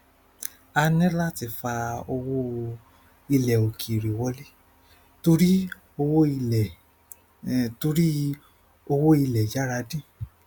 a ní láti fà owó ilẹ òkèèrè wọlé torí owó ilẹ torí owó ilẹ yára dín